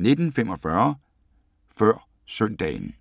19:45: Før søndagen